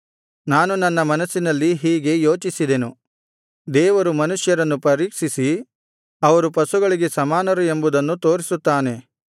ನಾನು ನನ್ನ ಮನಸ್ಸಿನಲ್ಲಿ ಹೀಗೆ ಯೋಚಿಸಿದೆನು ದೇವರು ಮನುಷ್ಯರನ್ನು ಪರೀಕ್ಷಿಸಿ ಅವರು ಪಶುಗಳಿಗೆ ಸಮಾನರು ಎಂಬುದನ್ನು ತೋರಿಸುತ್ತಾನೆ